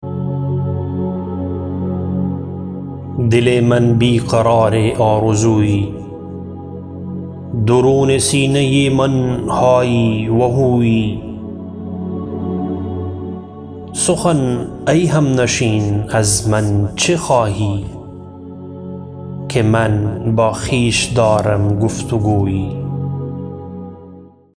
دل من بی قرار آرزویی درون سینه من های و هویی سخن ای همنشین از من چه خواهی که من با خویش دارم گفتگویی